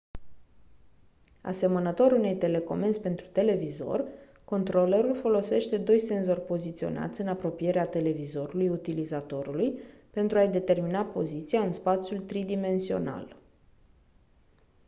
asemănător unei telecomenzi pentru televizor controlerul folosește doi senzori poziționați în apropierea televizorului utilizatorului pentru a-i determina poziția în spațiul tridimensional